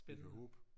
Vi kan håbe